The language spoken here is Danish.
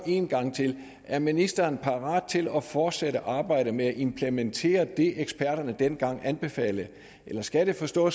en gang til er ministeren parat til at fortsætte arbejdet med at implementere det som eksperterne dengang anbefalede eller skal vi forstå